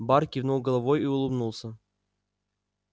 бар кивнул головой и улыбнулся